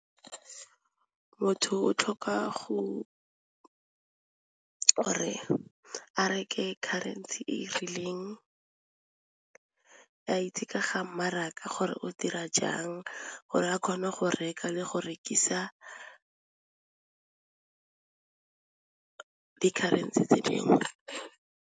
Motho o tlhoka gore a reke ka currency e rileng a itse ka ga mmaraka gore o dira jang gore a kgone go reka le go rekisa di-currency tse dingwe.